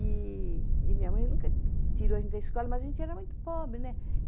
E e minha mãe nunca tirou a gente da escola, mas a gente era muito pobre, né?